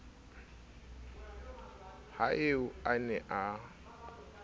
ha eo a ne a